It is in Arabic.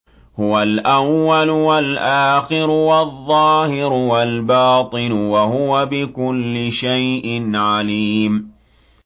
هُوَ الْأَوَّلُ وَالْآخِرُ وَالظَّاهِرُ وَالْبَاطِنُ ۖ وَهُوَ بِكُلِّ شَيْءٍ عَلِيمٌ